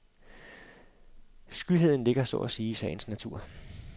Skyheden ligger så at sige i sagens natur.